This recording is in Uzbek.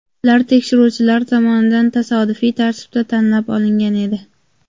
Ular tekshiruvchilar tomonidan tasodifiy tartibda tanlab olingan edi.